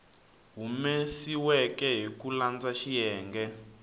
humesiweke hi ku landza xiyenge